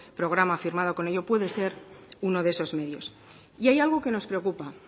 programa firmado con ello puede ser uno de esos medios y hay algo que nos preocupa